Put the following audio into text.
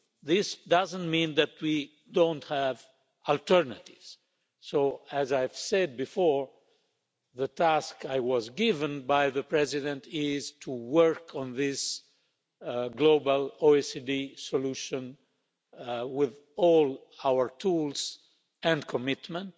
This doesn't mean that we don't have alternatives so, as I've said before, the task I was given by the President is to work on this global OECD solution with all our tools and commitment,